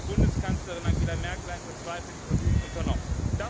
Da hat die Bundeskanzlerin Angela Merkel einen verzweifelten Versuch unternommen.